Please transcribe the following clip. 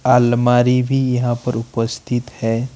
अलमारी भी यहां पर उपस्थित है।